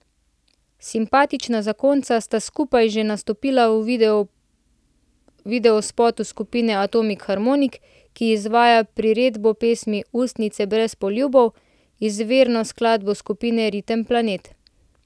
Simpatična zakonca sta skupaj že nastopila v videospotu skupine Atomik Harmonik, ki izvaja priredbo pesmi Ustnice brez poljubov, izvirno skladbo skupine Ritem Planet.